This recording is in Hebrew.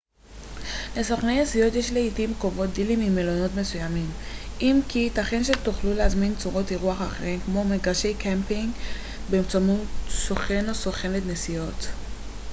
לסוכני נסיעות יש לעתים קרובות דילים עם מלונות מסוימים אם כי ייתכן שתוכלו להזמין צורות אירוח אחרות כמו מגרשי קמפינג באמצעות סוכן/ת נסיעות